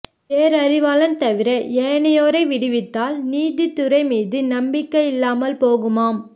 பேரறிவாளன் தவிர ஏனையோரை விடுவித்தால் நீதித் துறை மீது நம்பிக்கை இல்லாமல் போகுமாம்